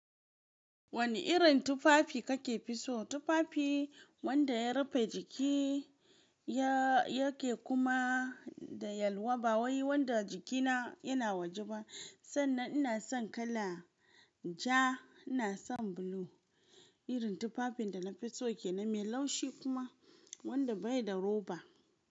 Wani irin tufafi kake fi so? Tufafi wanda ya rufe jiki yake kuma da yalwa ba wai wanda jikina yana waje ba. Sannan ina son kala ja, ina son blue. Irin tufafin da na fi so shine mai laushi kuma wanda bai da roba.